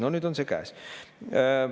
No nüüd on see käes.